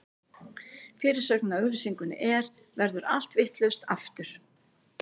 Fyrirsögnin á auglýsingunni er: Verður allt vitlaust, aftur?